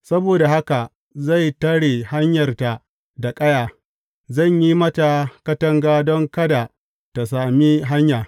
Saboda haka zai tare hanyarta da ƙaya; zan yi mata katanga don kada tă sami hanya.